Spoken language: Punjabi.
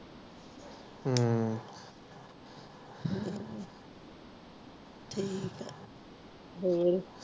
ਠੀਕ ਆ ਹੋਰ